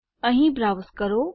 અહીં બ્રાઉઝ કરો